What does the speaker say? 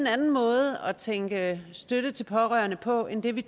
anden måde at tænke støtte til pårørende på end det vi